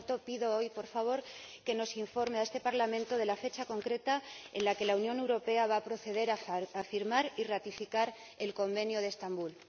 Por tanto, pido hoy, por favor, que se informe a este Parlamento de la fecha concreta en la que la Unión Europea va a proceder a firmar y ratificar el Convenio de Estambul.